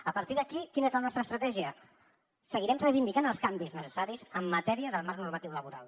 a partir d’aquí quina és la nostra estratègia seguirem reivindicant els canvis necessaris en matèria del marc normatiu laboral